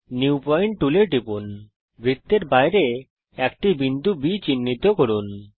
new point টুলে টিপুন বৃত্তের বাইরে একটি বিন্দু B চিহ্নিত করুন